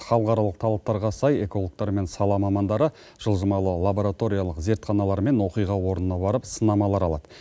халықаралық талаптарға сай экологтар мен сала мамандары жылжымалы лабораториялық зертханалармен оқиға орнына барып сынамалар алады